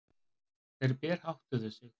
Þeir berháttuðu sig.